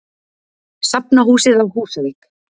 Safnahúsið á Húsavík.